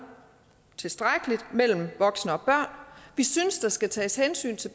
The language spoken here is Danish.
tilstrækkeligt mellem voksne og børn vi synes der skal tages hensyn til